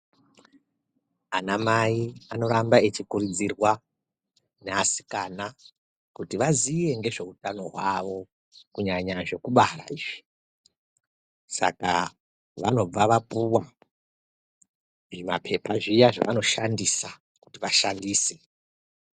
Ana Mai anoramba eikurudzirwa naasikana kuti vaziye ngezveutano hwavo kunyanya zvekubara izvi saka vanobva vapuwa zvimapepa zviya zvavanoshandisa kuti vashandise.